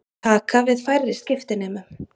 Taka við færri skiptinemum